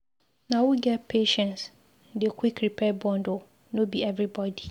Na who get patience dey quick repair bond o, no be everybodi.